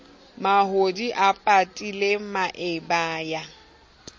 mahodi a patile maeba ya